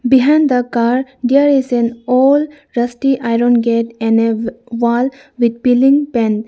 behind the car there is an old rusty iron gate and a w wall with peeling pain .